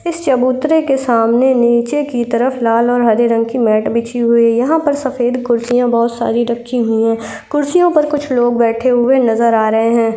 इस चबूतरे के सामने नीचे की तरफ लाल और हरे रंग की मैट बिछी हुई है | यहाँ पर सफ़ेद कुर्सियां बोहोत सारी रखी हुई हैं कुर्सियों पर कुछ लोग बैठे हुए नज़र आ रहें हैं।